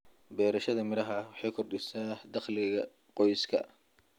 Beerashada miraha waxay kordhisaa dakhliga qoyska.